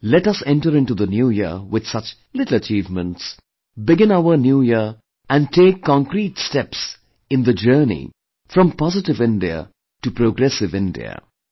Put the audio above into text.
Let us enter into the New Year with such little achievements, begin our New Year and take concrete steps in the journey from 'Positive India' to 'Progressive India'